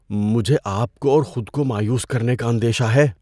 مجھے آپ کو اور خود کو مایوس کرنے کا اندیشہ ہے۔